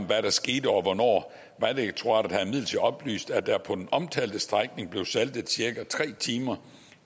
hvad der skete og hvornår vejdirektoratet har imidlertid oplyst at der på den omtalte strækning blev saltet cirka tre timer